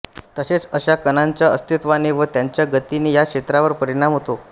तसेच अशा कणांच्या अस्तित्वाने व त्यांच्या गतीने या क्षेत्रावर परिणाम होतो